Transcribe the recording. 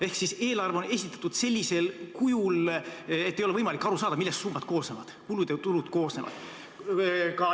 Ehk eelarve on esitatud sellisel kujul, et ei ole võimalik aru saada, millest summad, kulud ja tulud, koosnevad.